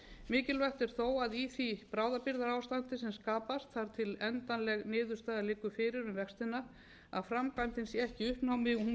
mikilvægt er þó að í því bráðabirgðaástandi sem skapast þar til endanleg niðurstaða liggur fyrir um vextina að framkvæmdin sé ekki í uppnámi hún